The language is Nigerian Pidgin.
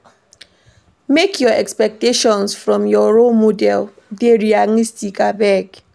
Make your expectations from your role model dey realistic abeg.